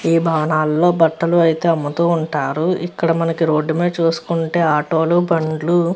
ఈ భవనాల్లోని బట్టలు అయితే అమ్ముతూ ఉంటారు ఇక్కడ మనకి రోడ్డు మీద చూసుకుంటే ఆటోలు బండ్లు --